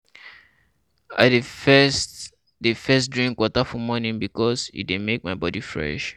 I dey first dey first drink water for morning bikos e dey make my body fresh.